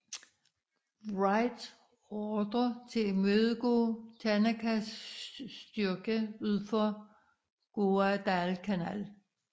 Wright ordre til at imødegå Tanakas styrke ud for Guadalcanal